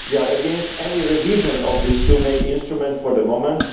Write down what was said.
We are against any revision of these two main instruments for the moment